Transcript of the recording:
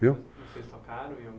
Viu? Vocês tocaram em